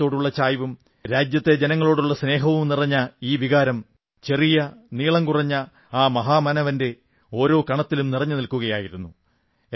രാജ്യത്തോടുള്ള ചായ്വും രാജ്യത്തെ ജനങ്ങളോടുള്ള സ്നേഹവും നിറഞ്ഞ ഈ വികാരം ചെറിയ നീളം കുറഞ്ഞ ആ മഹാമാനവന്റെ ഓരോ കണത്തിലും നിറഞ്ഞു നിൽക്കയായിരുന്നു